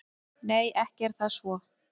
Nei, ekki er það svo.